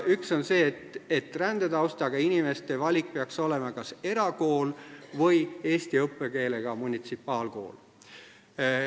Üks on see, et rändetaustaga inimeste valik peaks olema kas erakool või eesti õppekeelega munitsipaalkool.